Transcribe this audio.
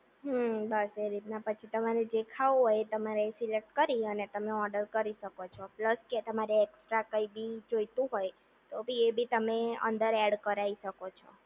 હમ્મ બસ એ રીતના પછી તમારે ખાવું હોય એ તમારે સિલેક્ટ કરી ને પછી તમારે તમે ઓર્ડર કરી શકો છો પ્લસ કે તમારે એક્સ્ટ કઈ બિલ જોઈતું હોય તો એ બી તમે અંદર એડ કરાઇ શકો છો